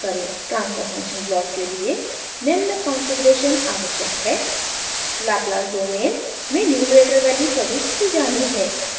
transfer function block के लिए निम्न कॉन्फ़िग्रेशन आवश्यक है laplace domain में numerator वैल्यू प्रविष्ट की जानी है